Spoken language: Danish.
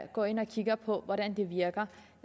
går ind og kigger på hvordan de virker